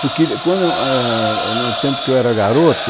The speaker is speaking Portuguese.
Porque ele quando ãh... no tempo em que eu era garoto,